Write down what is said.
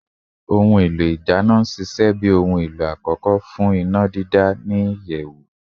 Oludana ina n ṣiṣẹ bi ohun elo akọkọ fun sise ni iyẹwu